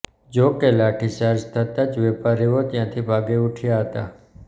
જો કે લાઠીચાર્જ થતા જ વેપારીઓ ત્યાંથી ભાગી ઉઠ્યા હતા